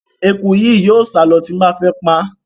Eku yìí yóò sálọ ti mo bá fẹ́ paá.